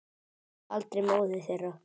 Og aldrei móður þeirra.